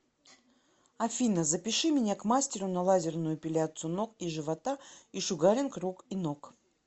афина запиши меня к мастеру на лазерную эпиляцию ног и живота и шугаринг рук и ног